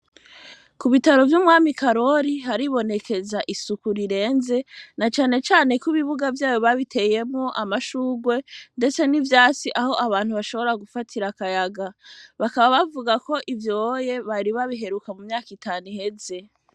Ku bitaro vy'umwami Karori haribonekeza isuku rirenze, na cane cane ko ibibiga vyaho babiteyemwo amashurwe ndetse n'ivyatsi aho abantu bashobora gufatira akayaga. Bakaba bavuga ko ivyoye bari babiheruka mu myaka itanu iheze.